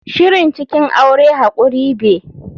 Shirin cikin aure hakuri be.